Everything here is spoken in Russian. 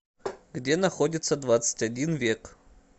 где находится двадцать один век